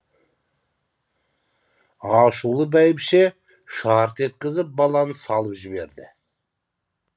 ашулы бәйбіше шарт еткізіп баланы салып жіберді